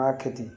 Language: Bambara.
M'a kɛ ten